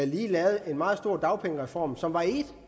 lige lavet en meget stor dagpengereform som var en